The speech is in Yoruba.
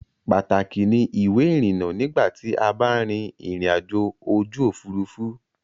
Pàtàkì ni ìwé-ìrinnà nígbà tí a ba ń rin ìrìnajò ojú ̀furufú.